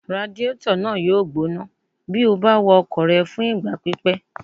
Radiétọ̀ náà yóò gbóná bí o bá wa ọkọ̀ rẹ fún ìgbà pípẹ́